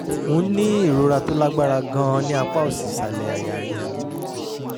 mò ń ní ìrora tó lágbára gan-an ní apá òsì ìsàlẹ̀ àyà mi